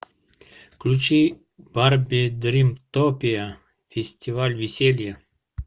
включи барби дримтопия фестиваль веселья